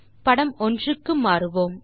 படம் 1 க்கு மாறுவோம்